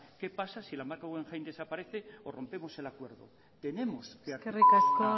qué pasa si la marca guggenheim desaparece o rompemos el acuerdo tenemos que eskerrik asko